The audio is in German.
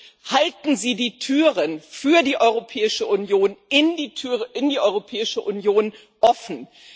Und halten Sie die Türen in die Europäische Union offen.